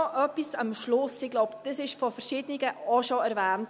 Noch etwas am Schluss – ich glaube, das wurde von verschiedenen auch schon erwähnt: